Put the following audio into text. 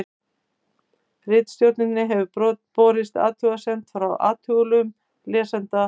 Ritstjórn hefur borist athugasemd frá athugulum lesanda.